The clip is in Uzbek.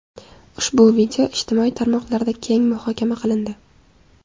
Ushbu voqea ijtimoiy tarmoqlarda keng muhokama qilindi.